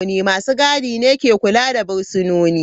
Masu gadi ne ke kula da fursunonin.